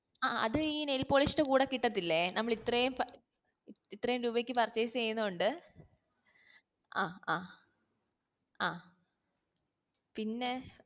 ആ അത് ഈ nail polish ന്റെ കൂടെ കിട്ടത്തില്ലേ നമ്മൾ ഇത്രേം രൂപയ്ക്ക് purchase ചെയ്യുന്നോണ്ട് ആഹ് ആഹ് ആ പിന്നെ